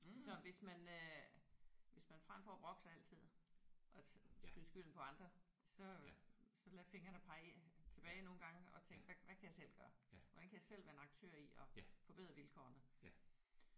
Så hvis man øh hvis man frem for at brokke sig altid og skyde skylden på andre så øh så lade fingrene pege tilbage nogle gange og tænke hvad kan jeg selv gøre? Hvordan kan jeg selv være en aktør i at forbedre vilkårene?